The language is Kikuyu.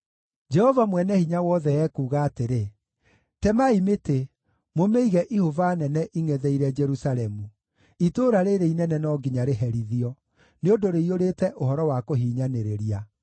Jehova Mwene-Hinya-Wothe ekuuga atĩrĩ: “Temai mĩtĩ mũmĩige ihũba nene ingʼetheire Jerusalemu. Itũũra rĩrĩ inene no nginya rĩherithio; nĩ ũndũ rĩiyũrĩte ũhoro wa kũhinyanĩrĩria.